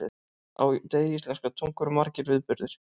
Á degi íslenskrar tungu eru margir viðburðir.